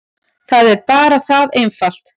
Það er bara það einfalt.